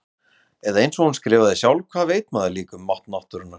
Eða einsog hún skrifaði sjálf: Hvað veit maður líka um mátt náttúrunnar.